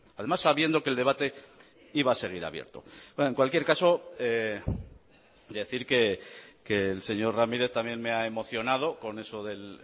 además sabiendo que el debate iba a seguir abierto en cualquier caso decir que el señor ramírez también me ha emocionado con eso del